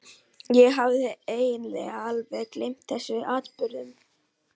Ég hafði eiginlega alveg gleymt þessum atburðum.